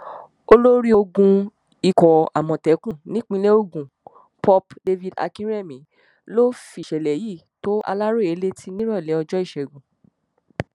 olórí ogun ikọ̀ àmọ̀tẹ́kùn nípìnínlẹ̀ ògùn pup david akínrẹ̀mí ló fìṣẹ̀lẹ̀ yìí tó aláròyé létí nírọ̀lẹ́ ọjọ́ ìṣẹ́gun